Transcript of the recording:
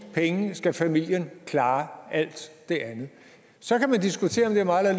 penge skal familien klare alt det andet så kan man diskutere om det er meget